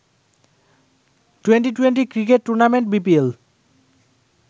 ২০-২০ cricket tournament BPL